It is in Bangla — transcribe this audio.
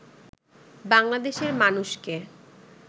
বাংলাদেশের মানুষকে